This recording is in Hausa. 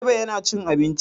Direba yana cin abinci.